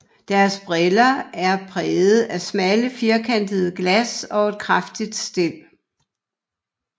Deres briller er præget af smalle firkantede glas og et kraftigt stel